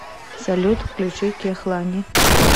салют включи кехлани